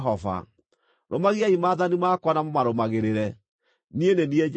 “Rũmagiai maathani makwa na mũmarũmagĩrĩre. Niĩ nĩ niĩ Jehova.